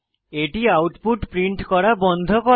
এটি output print করা বন্ধ করে